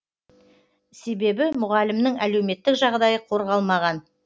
себебі мұғалімнің әлеуметтік жағдайы қорғалмаған